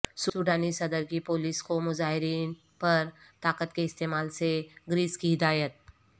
سوڈانی صدر کی پولیس کو مظاہرین پرطاقت کے استعمال سے گریز کی ہدایت